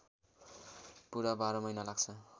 पुरा १२ महिना लाग्छ